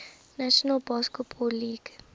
national basketball league